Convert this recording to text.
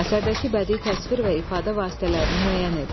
Əsərdəki bədii təsvir və ifadə vasitələrini müəyyən edin.